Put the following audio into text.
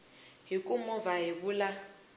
hi ku movha hi vula